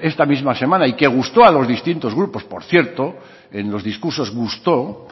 esta misma semana y que gustó a los distintos grupos por cierto en los discursos gustó